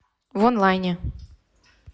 вонлайне